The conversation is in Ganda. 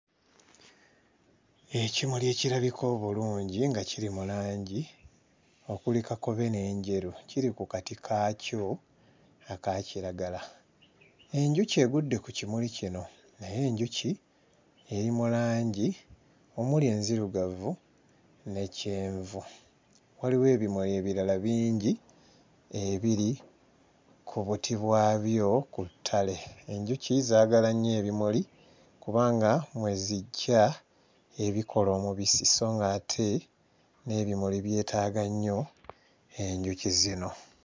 Ekimuli ekirabika obulungi nga kiri mu langi okuli kakobe n'enjeru, kiri ku kati kaakyo akakiragala, enjuki egudde ku kimuli kino naye enjuki eri mu langi omuli enzirugavu ne kyenvu. wWliwo ebimuli ebirala bingi ebiri ku buti bwabyo ku ttale. Enjuki zaagala nnyo ebimuli kubanga mwe zijja ebikola omubisi sso ng'ate n'ebimuli byetaaga nnyo enjuki zino.